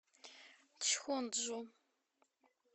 чхонджу